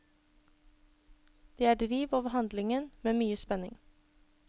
Det er driv over handlingen med mye spenning.